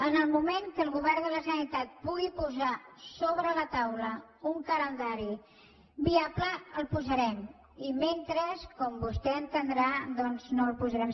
en el moment que el govern de la generalitat pugui posar sobre la taula un calendari viable el posarem i mentre com vostè entendrà doncs no el posarem